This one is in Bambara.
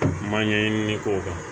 Ma ɲɛɲini k'o kan